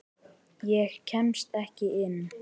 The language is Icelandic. Ég kemst ekki inn.